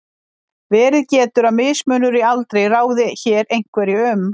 Verið getur að mismunur í aldri ráði hér einhverju um.